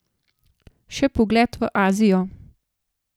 Še pogled v Azijo.